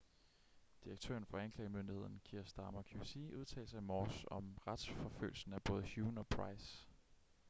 direktøren for anklagemyndigheden kier starmer qc udtalte sig i morges om retsforfølgelsen af både huhne og pryce